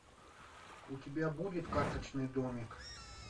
у тебя будет карточный домик